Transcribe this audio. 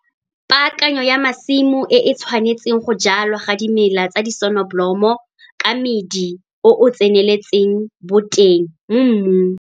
Paakanyo ya masimo e e tshwanetseng go jwalwa ga dimela tsa disonobolomo ka medi o o tsenelelang boteng mo mmung.